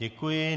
Děkuji.